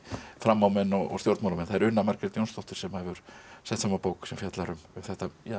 framámenn og stjórnmálamenn það er Una Margrét Jónsdóttir sem hefur sett saman bók sem fjallar um þetta